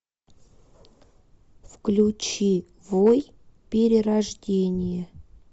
включи вой перерождение